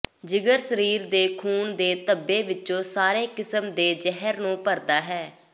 ਜਿਗਰ ਸਰੀਰ ਦੇ ਖੂਨ ਦੇ ਧੱਬੇ ਵਿੱਚੋਂ ਸਾਰੇ ਕਿਸਮ ਦੇ ਜ਼ਹਿਰ ਨੂੰ ਭਰਦਾ ਹੈ